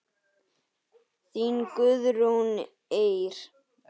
Þín Guðrún Eir.